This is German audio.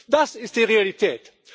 Das ist die Realität.